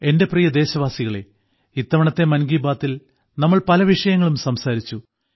എന്റെ പ്രിയ ദേശവാസികളേ ഇത്തവണത്തെ മൻ കി ബാത്തിൽ നമ്മൾ പല വിഷയങ്ങളും സംസാരിച്ചു